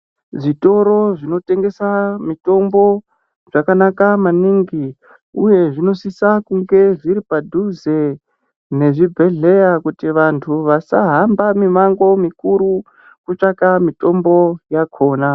Zvitoro zvinotengesa mitombo zvakanaka maningi, uye zvinosisa kunge zviri padhuze nezvibhedhleya. Kuti vantu vasahamba mimango mikuru kutsvaka mitombo yakona.